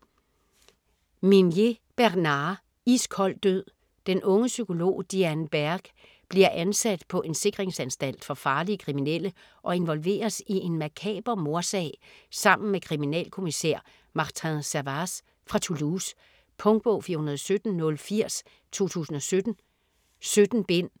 Minier, Bernard: Iskold død Den unge psykolog Diane Berg bliver ansat på en sikringsanstalt for farlige kriminelle og involveres i en makaber mordsag sammen med kriminalkommissær Martin Servaz fra Toulouse. Punktbog 417080 2017. 17 bind.